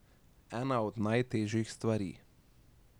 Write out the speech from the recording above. Ena od najtežjih stvari.